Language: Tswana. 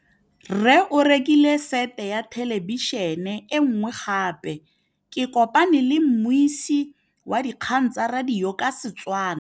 Rre o rekile sete ya thêlêbišênê e nngwe gape. Ke kopane mmuisi w dikgang tsa radio tsa Setswana.